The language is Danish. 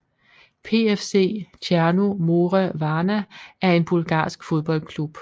PFC Tjerno More Varna er en bulgarsk fodboldklub